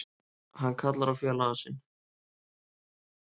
Hann kallar á félaga sinn.